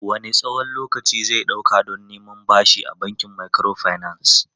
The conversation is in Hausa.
Wanne tsawon lokaci zai ɗauka don neman bashi a bankin microfinance?